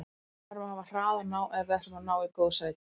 Við verðum að hafa hraðan á ef við ætlum að ná í góð sæti.